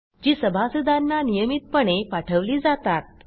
जी सभासदांना नियमितपणे पाठवली जातात